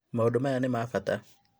Maũndũ maya nĩ ma bata